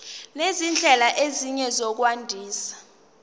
nezindlela ezinye zokwandisa